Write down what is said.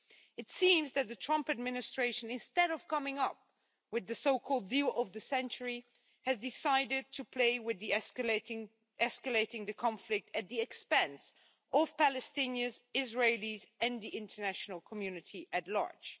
It seems that the Trump administration, instead of coming up with the so called deal of the century, has decided to play with escalating the conflict at the expense of Palestinians, Israelis and the international community at large.